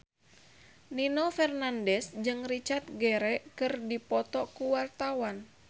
Nino Fernandez jeung Richard Gere keur dipoto ku wartawan